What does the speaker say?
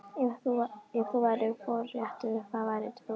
Ef þú værir forréttur, hvað værir þú?